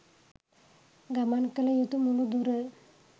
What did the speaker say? ගමන් කල යුතු මුළු දුර